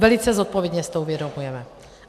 Velice zodpovědně si to uvědomujeme.